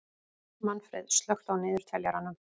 Manfreð, slökktu á niðurteljaranum.